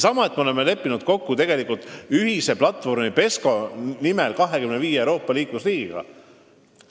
Me oleme ühise platvormi PESCO nimel kokku leppinud 25 Euroopa Liidu liikmesriigiga.